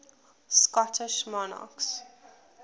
scottish monarchs